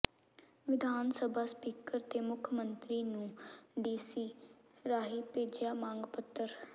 ਵਿਧਾਨ ਸਭਾ ਸਪੀਕਰ ਤੇ ਮੁੱਖ ਮੰਤਰੀ ਨੂੰੂ ਡੀਸੀ ਰਾਹੀਂ ਭੇਜਿਆ ਮੰਗ ਪੱਤਰ